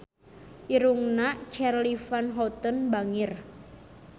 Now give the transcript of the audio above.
Irungna Charly Van Houten bangir